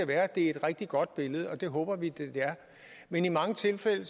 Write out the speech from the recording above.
være at det er et rigtig godt billede og det håber vi det er men i mange tilfælde